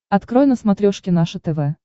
открой на смотрешке наше тв